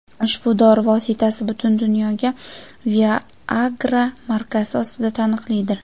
Ushbu dori vositasi butun dunyoda Viagra markasi ostida taniqlidir.